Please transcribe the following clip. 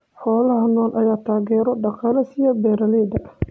Xoolaha nool ayaa taageero dhaqaale siiya beeralayda.